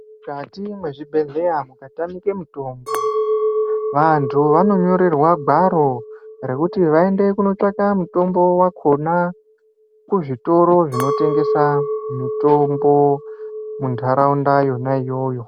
Mukati mezvibhedhlera mukatamika mitombo vantu vanonyorerwa gwaro rekuti vaende kundotsvaka Mutombo wakona akutengesa mitombo mundaraunda imomo.